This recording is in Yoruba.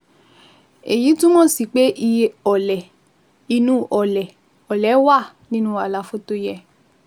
Èyí túmọ̀ sí pé iye ọlẹ̀ inú ọlẹ̀ ọlẹ̀ wà nínú àlàfo tó yẹ